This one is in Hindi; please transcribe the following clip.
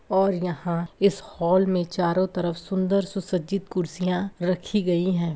और यहाँ इस हॉल में चारो तरफ सुन्दर सुसज्जित कुर्सियाँ रखी गई हैं।